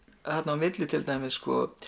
á milli til dæmis